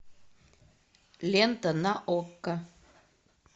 лента на окко